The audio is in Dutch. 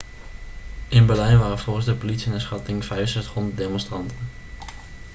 in berlijn waren volgens de politie naar schatting 6500 demonstranten